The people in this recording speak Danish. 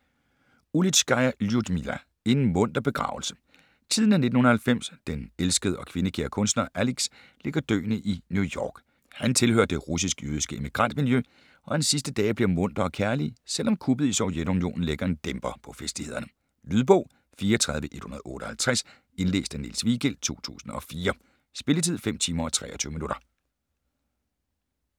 Ulitskaja, Ljudmila: En munter begravelse Tiden er 1990. Den elskede og kvindekære kunstner Alix ligger døende i New York. Han tilhører det russisk-jødiske emigrantmiljø, og hans sidste dage bliver muntre og kærlige, selv om kuppet i Sovjetunionen lægger en dæmper på festlighederne. Lydbog 34158 Indlæst af Niels Vigild, 2004. Spilletid: 5 timer, 23 minutter.